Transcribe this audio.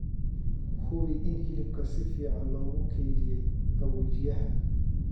Hubi in hilibka si fiican loogu kaydiyay qaboojiyaha.